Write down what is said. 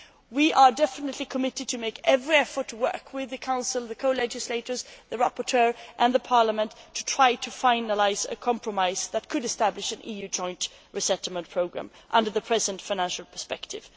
We are committed to making every effort to work with the Council, the co legislators, the rapporteur and Parliament to try to finalise a compromise that could establish an EU joint resettlement programme under the present financial perspective.